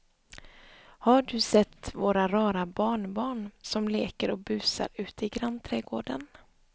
Har du sett våra rara barnbarn som leker och busar ute i grannträdgården!